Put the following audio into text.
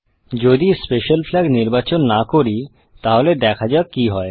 যদি special flag নির্বাচন না করি তাহলে দেখা যাক কি হয়